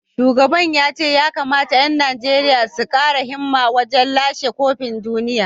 Shugaban ya ce ya kamata ‘yan Najeriya su kara himma wajen lashe kofin duniya